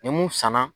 Ni mun sanna